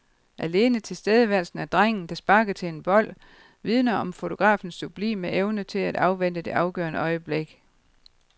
Alene tilstedeværelsen af drengen, der sparker til en bold, vidner om fotografens sublime evne til at afvente det afgørende øjeblik.